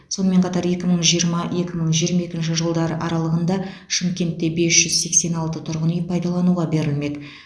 сонымен қатар екі мың жиырма екі мың жиырма екінші жылдар аралығында шымкентте бес жүз сексен алты тұрғын үй пайдалануға берілмек